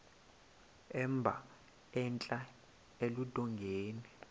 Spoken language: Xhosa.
emba entla eludongeni